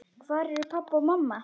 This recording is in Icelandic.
Hvar eru pabbi og mamma?